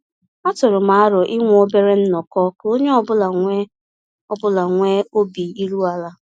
A tụrụ m arọ inwe obere nnọkọ ka onye ọ bụla nwee ọ bụla nwee obi iru ala